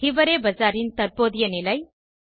ஹிவரே பசாரின் தற்போதைய நிலை 3